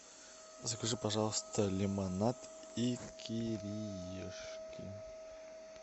закажи пожалуйста лимонад и кириешки